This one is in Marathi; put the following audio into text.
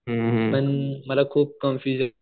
पण मला खूप कन्फ्युज आहे.